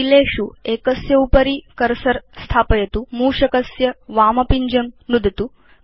कीलेषु एकस्य उपरि कर्सर स्थापयतु मूषकस्य वामपिञ्जं च नुदतु